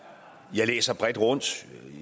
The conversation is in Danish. jeg læser bredt rundt